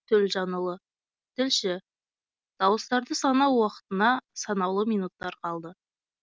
төлжанұлы тілші дауыстарды санау уақытына санаулы минуттар қалды